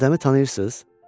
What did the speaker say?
Adəmi tanıyırsız?